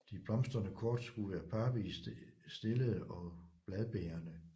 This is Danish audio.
De blomstrende kortskud er parvist stillede og bladbærende